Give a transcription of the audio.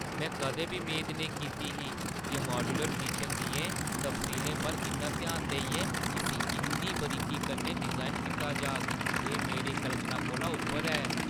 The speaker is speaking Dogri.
में कदें बी मेद नेईं कीती ही जे माड्यूलर किचन दियें तफसीलें पर इन्ना ध्यान देइयै इस्सी इन्नी बारीकी कन्नै डिजाइन कीता जाग! एह् मेरी कल्पना कोला उप्पर ऐ।